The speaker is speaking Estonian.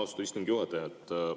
Austatud istungi juhataja!